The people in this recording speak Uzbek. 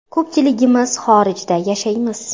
Ko‘pchiligimiz xorijda yashaymiz.